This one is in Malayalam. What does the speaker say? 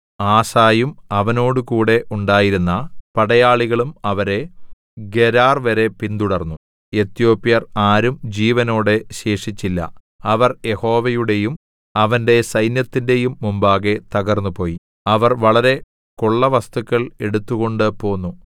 ആസയും അവനോടുകൂടെ ഉണ്ടായിരുന്ന പടയാളികളും അവരെ ഗെരാർവരെ പിന്തുടർന്നു എത്യോപ്യർ ആരും ജീവനോടെ ശേഷിച്ചില്ല അവർ യഹോവയുടെയും അവന്റെ സൈന്യത്തിന്റെയും മുമ്പാകെ തകർന്നുപോയി അവർ വളരെ കൊള്ളവസ്തുക്കൾ എടുത്തുകൊണ്ടുപോന്നു